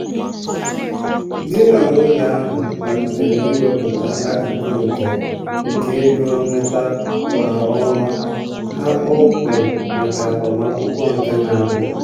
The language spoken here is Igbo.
di na nwunye ahụ malitere iwepụta akụkụ nke nke ego nnweta kwa ọnwa ha kpọmkwem maka agbamakwụkwọ na-abịa.